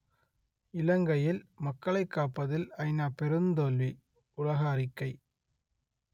இலங்கையில் மக்களைக் காப்பதில் ஐநா பெருந்தோல்வி உள்ளக அறிக்கை